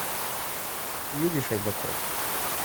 юрий шайдаков